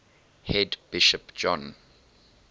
head bishop john